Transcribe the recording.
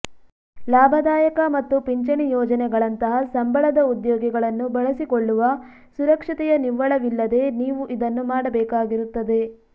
ಲಾಭದಾಯಕ ಮತ್ತು ಪಿಂಚಣಿ ಯೋಜನೆಗಳಂತಹ ಸಂಬಳದ ಉದ್ಯೋಗಿಗಳನ್ನು ಬಳಸಿಕೊಳ್ಳುವ ಸುರಕ್ಷತೆಯ ನಿವ್ವಳವಿಲ್ಲದೆ ನೀವು ಇದನ್ನು ಮಾಡಬೇಕಾಗಿರುತ್ತದೆ